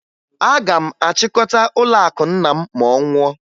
Aga m achịkọta ụlọakụ nna m ma ọ nwụọ